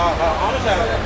Hə, hə.